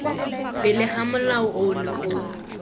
pele ga molao ono o